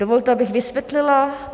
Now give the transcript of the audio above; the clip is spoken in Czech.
Dovolte, abych vysvětlila.